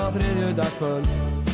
á þriðjudagskvöld